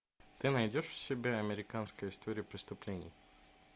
ты найдешь у себя американская история преступлений